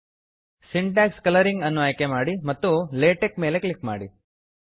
syntax colouring syntax colouring ಅನ್ನು ಆಯ್ಕೆ ಮಾಡಿ ಮತ್ತು ಲಾಟೆಕ್ಸ್ ಲೇಟೆಕ್ ಮೇಲೆ ಕ್ಲಿಕ್ ಮಾಡಿ